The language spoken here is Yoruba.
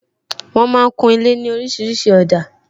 Wọn máa ń kun ilé ní orísìírísìí òdà